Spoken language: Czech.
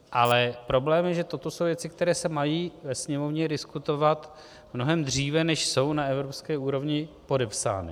Ale problém je, že toto jsou věci, které se mají ve Sněmovně diskutovat mnohem dříve, než jsou na evropské úrovni podepsány.